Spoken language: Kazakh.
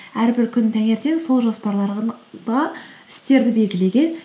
әрбір күні таңертен сол істерді белгілеген